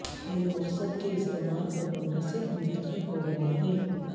وہ مقصد کے استعمال پر منحصر منتخب ہوگئے ہیں